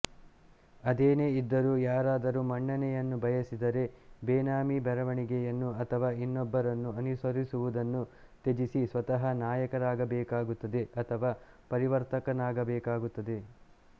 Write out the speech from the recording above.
ಅದೇನೆ ಇದ್ದರೂ ಯಾರಾದರೂ ಮನ್ನಣೆಯನ್ನು ಬಯಸಿದರೆ ಬೇನಾಮಿ ಬರವಣಿಗೆಯನ್ನು ಅಥವಾ ಇನ್ನೊಬ್ಬರನ್ನು ಅನುಸರಿಸುವುದನ್ನು ತ್ಯಜಿಸಿ ಸ್ವತಃ ನಾಯಕರಾಗಬೇಕಾಗುತ್ತದೆ ಅಥವಾ ಪರಿವರ್ತಕನಾಗಬೇಕಾಗುತ್ತದೆ